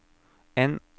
N